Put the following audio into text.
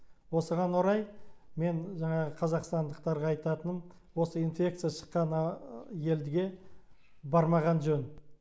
осыған орай мен жаңағы қазақстандықтарға айтатыным осы инфекция шыққан елге бармаған жөн